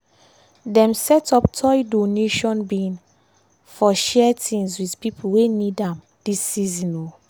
dem set up toy donation bin for share things with pipo wey need am dis season. um